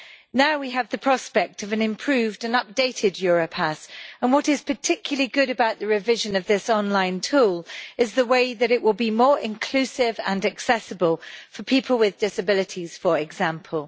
Now we have the prospect of an improved and updated Europass, and what is particularly good about the revision of this online tool is the way that it will be more inclusive and accessible for people with disabilities, for example.